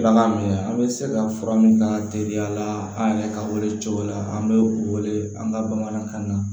Bagan minɛ an bɛ se ka fura min k'a teliya la an yɛrɛ ka wele cogo la an bɛ wele an ka bamanankan na